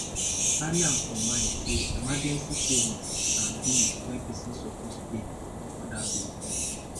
carry am for mind sey emergency savings na bill wey person suppose pay before oda bill